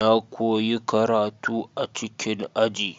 Na koyi karatu a cikin aji.